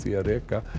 að reka